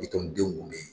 Bitɔn denw kun bɛ yen